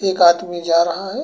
एक आदमी जा रहा है।